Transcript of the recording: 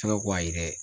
Sabu k'a yɛrɛ